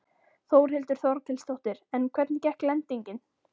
Þórhildur Þorkelsdóttir: En hvernig gekk lendingin?